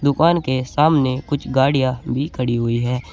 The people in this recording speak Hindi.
दुकान के सामने कुछ गाड़ियां भी खड़ी हुई है।